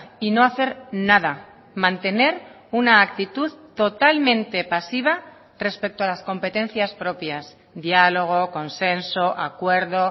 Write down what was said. y no hacer nada mantener una actitud totalmente pasiva respecto a las competencias propias diálogo consenso acuerdo